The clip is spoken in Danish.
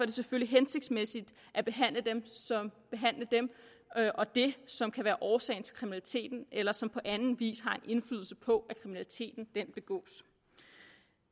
det selvfølgelig hensigtsmæssigt at behandle dem og det som kan være årsagen til kriminaliteten eller som på anden vis har en indflydelse på at kriminaliteten begås